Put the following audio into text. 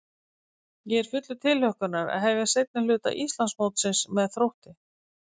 Ég er fullur tilhlökkunar að hefja seinni hluta Íslandsmótsins með Þrótti.